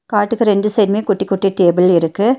காட்டுக்கு ரெண்டு சைடுமே குட்டி குட்டி டேபிள் இருக்கு.